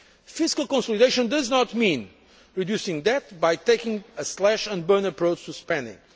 Fiscal consolidation does not mean reducing debt by taking a slash and burn approach to spending.